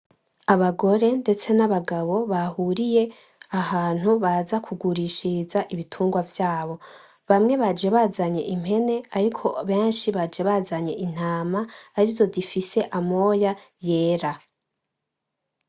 Abagore ndetse nabagabo bahuriye ahantu baza kugurishiriza ibitungwa vyabo, bamwe baje bazanye impene ariko benshi baje bazanye intama arizo zifise amoya yera.